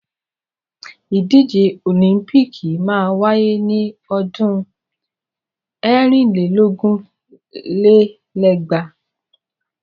Ìdíje òlíḿpìkì máa wáyé ni ọdún ẹ̀rin lé lógún lé lẹ́gbàá.